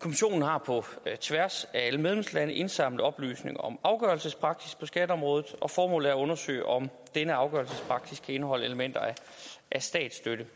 kommissionen har på tværs af alle medlemslande indsamlet oplysninger om afgørelsespraksis på skatteområdet og formålet er at undersøge om denne afgørelsespraksis kan indeholde elementer af statsstøtte